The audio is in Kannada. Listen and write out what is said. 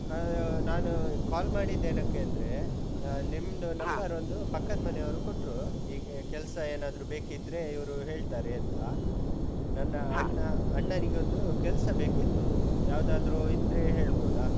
ಹಾ, ನಾನು sir ಮಾಡಿದ್ದೇನಕ್ಕೆ ಅಂದ್ರೆ ನಿಮ್ದು number ಒಂದು ಪಕ್ಕದ್ ಮನೆಯವ್ರು ಕೊಟ್ರು, ಹೀಗೆ ಕೆಲ್ಸ ಏನಾದ್ರು ಬೇಕಿದ್ರೆ ಇವ್ರು ಹೇಳ್ತಾರೇಂತಾ. ನನ್ನ ಅಣ್ಣ, ಅಣ್ಣನಿಗೊಂದು ಕೆಲ್ಸ ಬೇಕಿತ್ತು ಯಾವ್ದಾದ್ರು ಇದ್ರೆ ಹೇಳ್ಬೋದಾ?